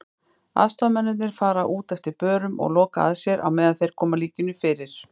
Aðstoðarmennirnir fara út eftir börum og loka að sér á meðan þeir koma líkinu fyrir.